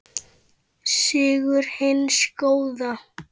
Sigur hins góða.